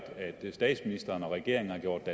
regeringen har gjort